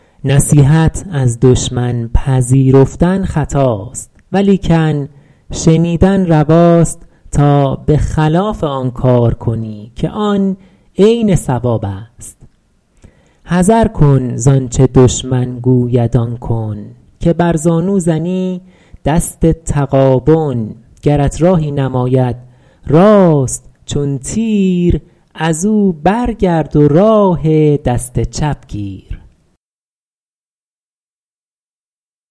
نصیحت از دشمن پذیرفتن خطاست ولیکن شنیدن رواست تا به خلاف آن کار کنی که آن عین صواب است حذر کن زآنچه دشمن گوید آن کن که بر زانو زنی دست تغابن گرت راهی نماید راست چون تیر از او برگرد و راه دست چپ گیر